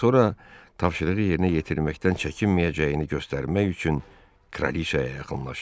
Sonra tapşırığı yerinə yetirməkdən çəkinməyəcəyini göstərmək üçün kraliçaya yaxınlaşdı.